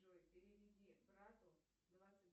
джой переведи брату двадцать